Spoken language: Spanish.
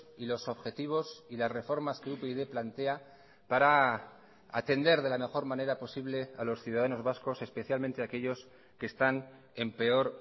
y los objetivos y las reformas que upyd plantea para atender de la mejor manera posible a los ciudadanos vascos especialmente aquellos que están en peor